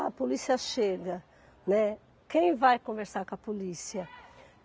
A polícia chega, né, quem vai conversar com a polícia?